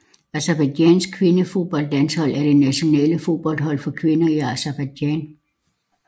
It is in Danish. Aserbajdsjans kvindefodboldlandshold er det nationale fodboldhold for kvinder i Aserbajdsjan